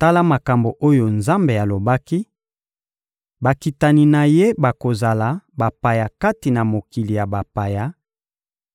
Tala makambo oyo Nzambe alobaki: «Bakitani na ye bakozala bapaya kati na mokili ya bapaya;